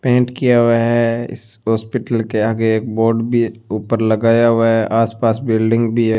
Pant किया हुआ है इस हॉस्पिटल के आगे एक बोर्ड भी ऊपर लगाया हुआ है आस पास बिल्डिंग भी है।